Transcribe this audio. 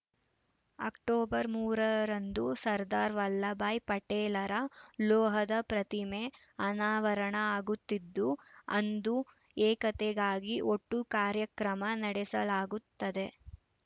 October ಮೂರರಂದು ಸರ್ದಾರ್‌ ವಲ್ಲಭಬಾಯಿ ಪಟೇಲರ ಲೋಹದ ಪ್ರತಿಮೆ ಅನಾವರಣ ಆಗುತ್ತಿದ್ದು ಅಂದು ಏಕತೆಗಾಗಿ ಒಟ್ಟು ಕಾರ್ಯಕ್ರಮ ನಡೆಸಲಾಗುತ್ತದೆ